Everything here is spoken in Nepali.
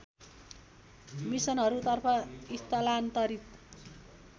मिसनहरूतर्फ स्थलान्तरित